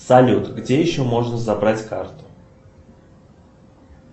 салют где еще можно забрать карту